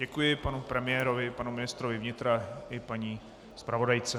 Děkuji panu premiérovi, panu ministrovi vnitra i paní zpravodajce.